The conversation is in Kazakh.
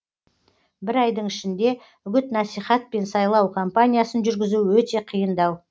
бір айдың ішінде үгіт насихат пен сайлау кампаниясын жүргізу өте қиындау